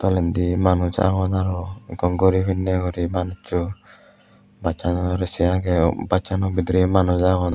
tolendi manuch agon aro ekko guri pinne guri manuccho bus sano uri se aage bus sano bidire manuch agon.